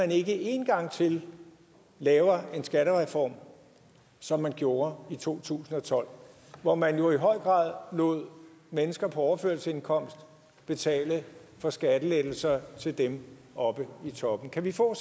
ikke én gang til laver en skattereform som man gjorde i to tusind og tolv hvor man jo i høj grad lod mennesker på overførselsindkomst betale for skattelettelser til dem oppe i toppen kan vi få